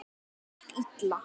Það gekk illa.